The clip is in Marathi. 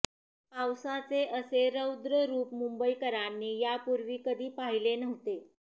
पावसाचे असे रौद्र रूप मुंबईकरांनी यापूर्वी कधी पाहिले नव्हते